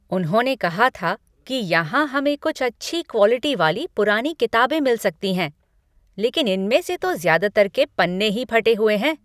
उन्होंने कहा था कि यहां हमें कुछ अच्छी क्वालिटी वाली पुरानी किताबें मिल सकती हैं, लेकिन इनमें से तो ज़्यादातर के पन्ने ही फटे हुए हैं।